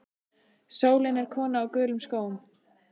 Sólin er kona á gulum skóm.